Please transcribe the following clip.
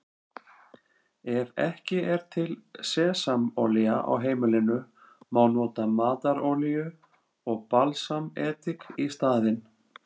Ef ekki er til sesamolía á heimilinu má nota matarolíu og balsamedik í staðinn.